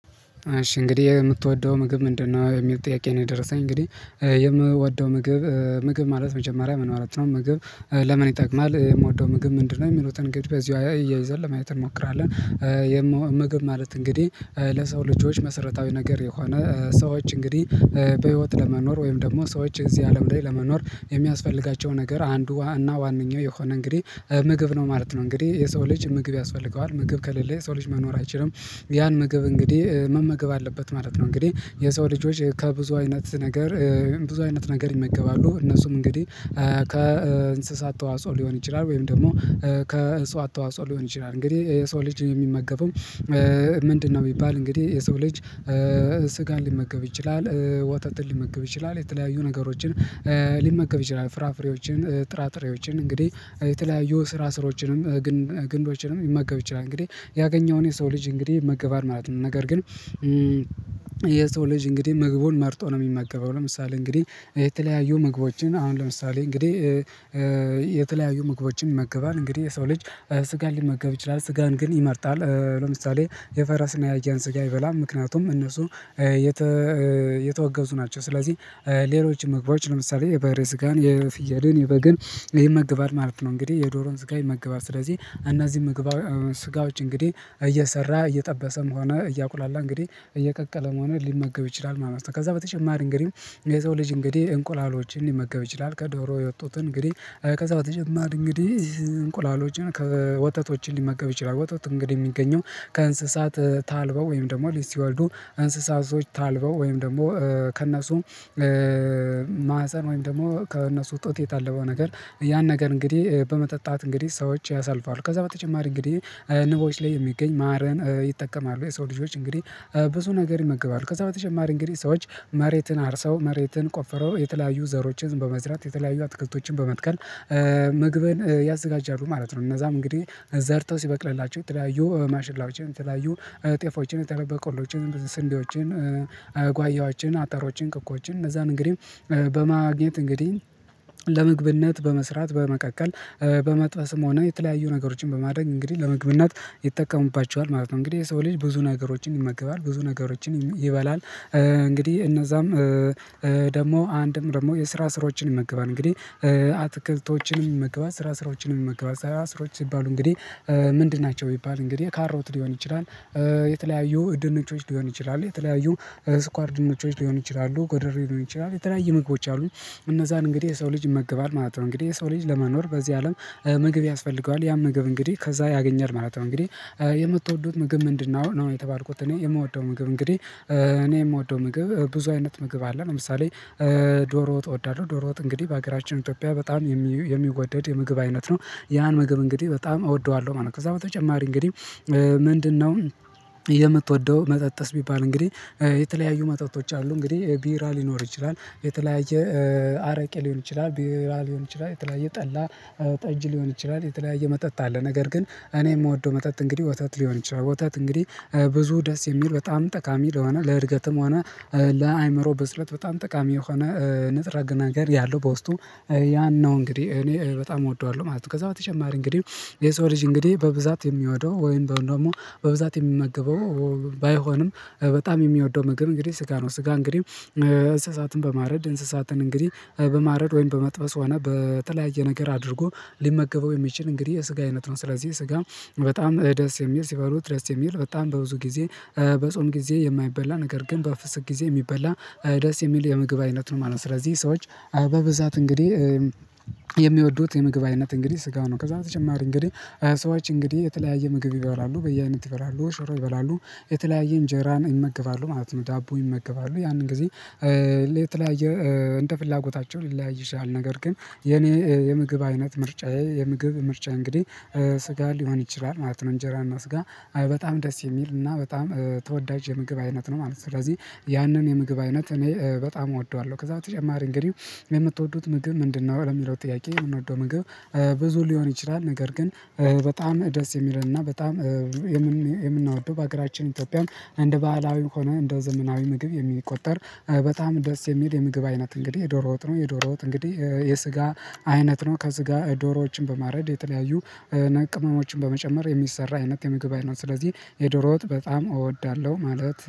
እሺ እንግዲህ የምትወደው ምግብ ምንድነው? የሚል ጥያቄ ነው የደረሰኝ እንግዲህ የምወደው ምግብ ምግብ ማለት መጀመሪያ ምን ማለት ነው ምግብ ለምን ይጠቅማል የምወደው ምግብ ምንድነው የሚሉትን እንግዲህ በዚሁ አያይዘን ለማየት እንሞክራለን። ምግብ ማለት እንግዲህ ለሰው ልጆች መሰረታዊ ነገር የሆነ ሰዎች እንግዲህ በህይወት ለመኖር ወይም ደግሞ ሰዎች እዚህ አለም ላይ ለመኖር የሚያስፈልጋቸው ነገር አንዱ እና ዋናኛው የሆነ እንግዲህ ምግብ ነው ማለት ነው እንግዲህ የሰው ልጅ ምግብ ያስፈልገዋል ምግብ ከሌለ የሰው ልጅ መኖር አይችልም። ያን ምግብ እንግዲህ መመገብ አለበት ማለት ነው። እንግዲህ የሰው ልጆች ከብዙ አይነት ነገር ብዙ አይነት ነገር ይመገባሉ እነሱም እንግዲህ ከእንስሳት ተዋጽኦ ሊሆን ይችላል ወይም ደግሞ ከእንስሳት ተዋጽኦ ሊሆን ይችላል። እንግዲህ የሰው ልጅ የሚመገበው ምንድነው ቢሚባል እንግዲህ የሰው ልጅ ስጋን ሊመገብ ይችላል። ወተትን ሊመገብ ይችላል የተለያዩ ነገሮችን ሊመገብ ይችላል ፍራፍሬዎችን ጥራጥሬዎችን እንግዲህ የተለያዩ ስራ ስሮችንም ግንዶችንም ልመገብ ይችላል። እንግዲህ ያገኘውን የሰው ልጅ እንግዲህ ይመገባል ማለት ነው። ነገር ግን የሰው ልጅ እንግዲህ ምግቡን መርጦ ነው። የሚመገበው ለምሳሌ እንግዲህ የተለያዩ ምግቦችን አሁን ለምሳሌ እንግዲህ የተለያዩ ምግቦችን ይመገባል እንግዲህ የሰው ልጅ ስጋን ሊመገብ ይችላል ስጋን ግን ይመርጣል ለምሳሌ የፈረስና የአያን ስጋ አይበላም። ምክንያቱም እነሱ የተወገዙ ናቸው ስለዚህ ሌሎች ምግቦች ለምሳሌ የበሬ ስጋን የፍየልን የበግን ይመገባል ማለት ነው። እንግዲህ የዶሮን ስጋን ይመገባል ስለዚህ እነዚህ ምግባ ስጋ ውጪ እንግዲህ እየሰራ እየጠበሰም ሆነ እያቁላላ እንግዲህ እየቀቀለም ሆነ ሊመገብ ይችላል። ማመስገን ከዛ በተጨማሪ እንግዲህ የሰው ልጅ እንግዲህ እንቁላሎችን ሊመገብ ይችላል። ከዶሮ የወጡት እንግዲህ ከዛ በተጨማሪ እንግዲህ እንቁላሎችን ከወተቶች ሊመገብ ይችላል። ወተት እንግዲህ የሚገኘው ከእንስሳት ታልበው ወይም ደግሞ ልጅ ሲወልዱ እንስሳቶች ታልበው ወይም ደግሞ ከእነሱ ማህፀን ወይም ደግሞ ከእነሱ ጡት የታለበው ነገር ያን ነገር እንግዲህ በመጠጣት እንግዲህ ሰዎች ያሳልፋሉ። ከዛ በተጨማሪ እንግዲህ ንቦች ላይ የሚገኝ ማርን ይጠቀማሉ የሰው ልጆች እንግዲህ ብዙ ነገር ይመገባሉ። ከዛ በተጨማሪ እንግዲህ ሰዎች መሬትን አርሰው መሬትን ቆፍረው የተለያዩ ዘሮችን በመዝራት የተለያዩ አትክልቶችን በመትከል ምግብን ያዘጋጃሉ ማለት ነው። እነዛም እንግዲህ ዘርተው ሲበቅልላቸው ትላዩ ማሽላዎችን የተለያዩ ጤፎችን የተለያዩ በቆሎችን ስንዴዎችን ጓያዎችን አተሮችን ክኮችን እነዛን እንግዲህ በማግኘት እንግዲህ ለምግብነት በመስራት በመቀቀል በመጥበስም ሆነ የተለያዩ ነገሮችን በማድረግ እንግዲህ ለምግብነት ይጠቀሙባቸዋል ማለት ነው። እንግዲህ የሰው ልጅ ብዙ ነገሮችን ይመገባል ብዙ ነገሮችን ይበላል። እንግዲህ እነዛም ደግሞ አንድም ደግሞ የስራስሮችን ይመገባል እንግዲህ አትክልቶችንም ይመገባል ስራ ስሮችንም ይመገባል ስራ ስሮች ሲባሉ እንግዲህ ምንድን ናቸው? የሚባል እንግዲህ ካሮት ሊሆን ይችላል የተለያዩ ድንቾች ሊሆን ይችላል የተለያዩ ስኳር ድንቾች ሊሆን ይችላሉ ጎደሬ ሊሆን ይችላሉ የተለያዩ ምግቦች አሉ እነዛን እንግዲህ የሰው ልጅ ይመገባል ማለት ነው። እንግዲህ የሰው ልጅ ለመኖር በዚህ አለም ምግብ ያስፈልገዋል ያን ምግብ እንግዲህ ከዛ ያገኛል ማለት ነው። እንግዲህ የምትወዱት ምግብ ምንድነው? ነው የተባልኩት እኔ የምወደው ምግብ እንግዲህ እኔ የምወደው ምግብ ብዙ አይነት ምግብ አለ ለምሳሌ ዶሮ ወጥ እወዳለሁ። ዶሮ ወጥ እንግዲህ በሀገራችን ኢትዮጵያ በጣም የሚወደድ የምግብ አይነት ነው ያን ምግብ እንግዲህ በጣም እወደዋለሁ ማለት ነው። ከዛ በተጨማሪ እንግዲህ ምንድነው የምትወደው መጠጥስ ቢባል እንግዲህ የተለያዩ መጠጦች አሉ እንግዲህ ቢራ ሊኖር ይችላል የተለያየ አረቄ ሊሆን ይችላል ቢራ ሊሆን ይችላል የተለያየ ጠላ ጠጅ ሊሆን ይችላል የተለያየ መጠጥ አለ። ነገር ግን እኔ የምወደው መጠጥ እንግዲህ ወተት ሊሆን ይችላል ወተት እንግዲህ ብዙ ደስ የሚል በጣም ጠቃሚ ለሆነ ለእድገትም ሆነ ለአእምሮ ብስለት በጣም ጠቃሚ የሆነ ንጽረ ነገር ያለው በውስጡ ያን ነው እንግዲህ እኔ በጣም እወደዋለሁ ማለት ነው። ከዛ በተጨማሪ እንግዲህ የሰው ልጅ እንግዲህ በብዛት የሚወደው ወይም ደግሞ በብዛት የሚመገበው ባይሆንም በጣም የሚወደው ምግብ እንግዲህ ስጋ ነው። ስጋ እንግዲህ እንስሳትን በማረድ እንስሳትን እንግዲህ በማረድ ወይም በመጥበስ ሆነ በተለያየ ነገር አድርጎ ሊመገበው የሚችል እንግዲህ የስጋ አይነት ነው ስለዚህ ስጋ በጣም ደስ የሚል ሲባሉት ደስ የሚል በጣም በብዙ ጊዜ በጾም ጊዜ የማይበላ ነገር ግን በፍስክ ጊዜ የሚበላ ደስ የሚል የምግብ አይነት ነው ማለት ነው። ስለዚህ ሰዎች አበብዛት እንግዲህ የሚወዱት የምግብ አይነት እንግዲህ ስጋ ነው። ከዛ በተጨማሪ እንግዲህ ሰዎች እንግዲህ የተለያየ ምግብ ይበላሉ በየአይነት ይበላሉ ሽሮ ይበላሉ የተለያየ እንጀራን ይመገባሉ ማለት ነው። ዳቦ ይመገባሉ ያንን ጊዜ የተለያየ እንደ ፍላጎታቸው ሊለያይ ይችላል ነገር ግን የኔ የምግብ አይነት ምርጫዬ የምግብ ምርጫ እንግዲህ ስጋ ሊሆን ይችላል። ማለት ነው እንጀራ እና ስጋ በጣም ደስ የሚል እና በጣም ተወዳጅ የምግብ አይነት ነው ማለት ነው። ስለዚህ ያንን የምግብ አይነት እኔ በጣም እወደዋለሁ ከዛ በተጨማሪ እንግዲህ የምትወዱት ምግብ ምንድነው? ለሚለው ጥያቄ የምንወደው ምግብ ብዙ ሊሆን ይችላል ነገር ግን በጣም ደስ የሚለንና በጣም የምናወደው በሀገራችን ኢትዮጵያም እንደ ባህላዊ ከሆነ እንደ ዘመናዊ ምግብ የሚቆጠር በጣም ደስ የሚል የምግብ አይነት እንግዲህ የዶሮ ወጥ ነው። የዶሮ ወጥ እንግዲህ የስጋ አይነት ነው ከስጋ ዶሮዎችን በማረድ የተለያዩ ቅመሞችን በመጨመር የሚሰራ አይነት የምግብ አይነት ስለዚህ የዶሮ ወጥ በጣም እወዳለሁ ማለት